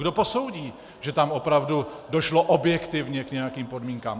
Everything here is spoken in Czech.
Kdo posoudí, že tam opravdu došlo objektivně k nějakým podmínkám?